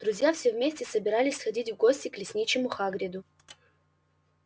друзья все вместе собирались сходить в гости к лесничему хагриду